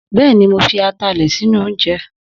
Bẹ́ẹ̀ni, mo fi atalẹ̀ sínú oúnjẹ